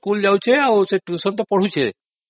ସେ ସ୍କୁଲ ଯାଉଛି ଆଉ ଟ୍ୟୁସନ ତ ପଢୁଛି